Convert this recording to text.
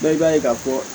Bɛɛ b'a ye ka fɔ